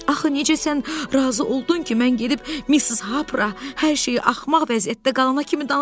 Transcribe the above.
Axı necə sən razı oldun ki, mən gedib Missis Harperə hər şeyi axmaq vəziyyətdə qalana kimi danışım?